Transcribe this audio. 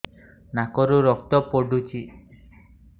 ନାକରୁ ରକ୍ତ ପଡୁଛି